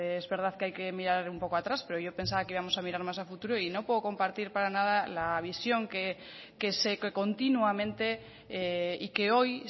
pues es verdad que hay que mirar un poco atrás pero yo pensaba que íbamos a mirar más a futuro y no puedo compartir para nada la visión que continuamente y que hoy